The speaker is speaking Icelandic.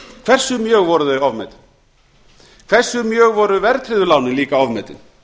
hversu mjög voru þau ofmetin hversu mjög voru verðtryggðu lánin líka ofmetin